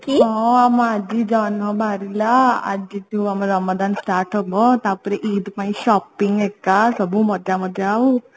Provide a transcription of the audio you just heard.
ହଁ ଆମ ଆଜି ଜହ୍ନ ବାହାରିଲା ଆଜିଠୁ ଆମର ରମଦାନ start ହବ ତାପରେ ଇଦ ପାଇଁ shopping ଏକା ସବୁ ମଜା ମଜା ଆଉ